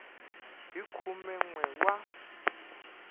hi khume n we wa